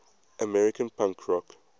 american punk rock